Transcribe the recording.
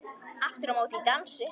Aftur á móti í dansi.